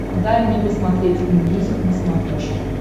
дай мне посмотреть энмьюзик на смотрешке